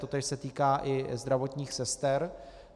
Totéž se týká i zdravotních sester.